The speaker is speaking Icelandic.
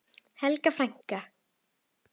Helga frænka.